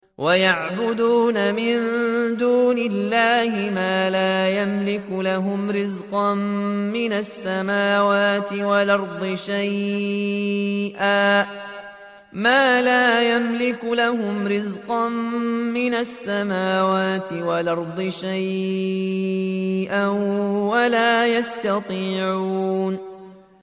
وَيَعْبُدُونَ مِن دُونِ اللَّهِ مَا لَا يَمْلِكُ لَهُمْ رِزْقًا مِّنَ السَّمَاوَاتِ وَالْأَرْضِ شَيْئًا وَلَا يَسْتَطِيعُونَ